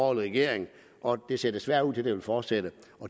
regering og det ser desværre ud til at det vil fortsætte